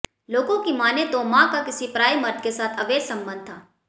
लोगों की माने तो मां का किसी पराए मर्द के साथ अवैध संबंध था